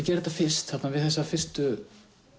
gerði þetta fyrst við þessa fyrstu